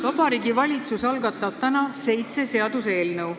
Vabariigi Valitsus algatab täna seitse seaduseelnõu.